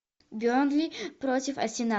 бернли против арсенал